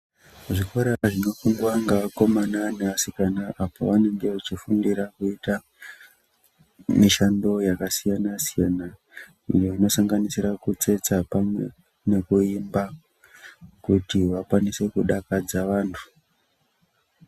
Zvikora zvinofundwa nevakomana nevasikana apo pavanenge vachifundira kuita mishando yakasiyana-siyana inosanganisira kutsetsa pamwe nekuimba kuti vakwanise kudakadza vantu.